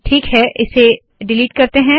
ठीक है इसे डिलीट करते है